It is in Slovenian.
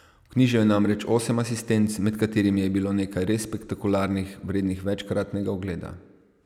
Vknjižil je namreč osem asistenc, med katerimi je bilo nekaj res spektakularnih, vrednih večkratnega ogleda.